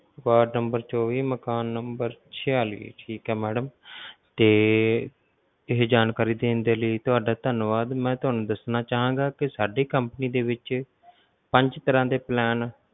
ward number ਚੋਵੀ ਮਕਾਨ number ਛਿਆਲੀ ਠੀਕ ਆ madam ਤੇ ਇਹ ਜਾਣਕਾਰੀ ਦੇਣ ਦੇ ਲਈ ਤੁਹਾਡਾ ਧੰਨਵਾਦ, ਮੈ ਤੁਹਾਨੂੰ ਦੱਸਣਾ ਚਾਹਾਂਗਾ ਕਿ ਸਾਡੀ company ਦੇ ਵਿੱਚ ਪੰਜ ਤਰਾਂ ਦੇ plan